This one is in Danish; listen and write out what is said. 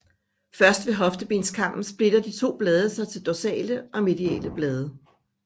Først ved hoftebenskammen splitter de to blade sig til dorsale og mediale blade